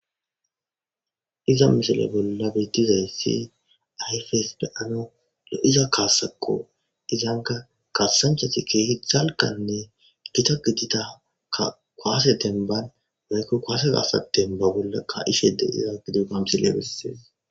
Iza misile bolla betizayisi ayifesi be,anawu lo,iza kasako izanka kasanchati kehi dalganne githa gidiza kuwase demban woyiko kuwase kasa demban ka,ishe diza kilebe besees